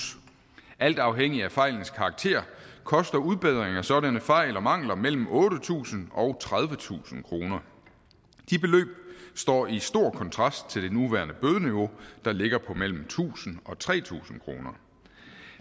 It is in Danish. alt afhængig af fejlens karakter koster udbedring af sådanne fejl og mangler mellem otte tusind og tredivetusind kroner de beløb står i stor kontrast til det nuværende bødeniveau der ligger på mellem tusind og tre tusind kroner